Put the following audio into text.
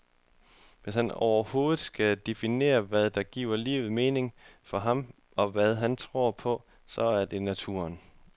Hvis han overhovedet skal definere, hvad der giver livet mening for ham, og hvad han tror på så er det naturen.